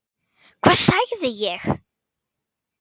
Hvað sagði ég??